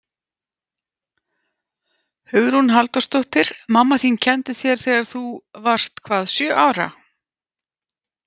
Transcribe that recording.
Hugrún Halldórsdóttir: Mamma þín kenndi þér, þegar þú varst hvað sjö ára?